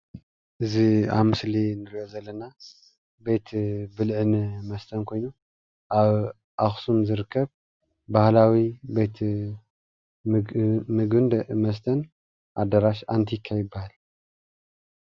እዚ ኣብ ምስሊ አንርኦ ዘለና ባህላዊ ብልዕን መስተን ኮይኑ አብ ኣኹስም ዝርከብ ቤት ብልዕን መስተን ባህላዊ ኣዳራሽ ኣንቲካ ይባሃል።